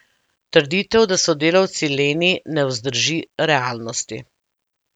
Trditev, da so delavci leni, ne vzdrži realnosti.